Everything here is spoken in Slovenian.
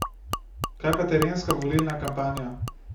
Kaj pa terenska volilna kampanja?